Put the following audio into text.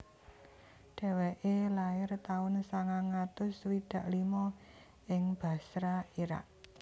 Dheweke lair taun sangang atus swidak limo ing Basra Irak